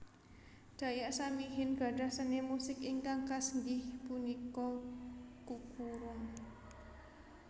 Dayak Samihim gadhah seni musik ingkang khas inggih punika kukurung